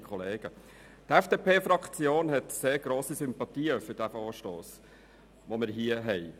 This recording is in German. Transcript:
Die FDP-Fraktion hegt grosse Sympathien für den vorliegenden Vorstoss.